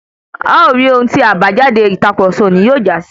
A o ri ohun tí àbájáde ìtàkurọ̀sọ òní yóò jásí.